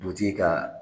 Butigi kaa